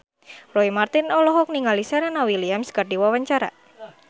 Roy Marten olohok ningali Serena Williams keur diwawancara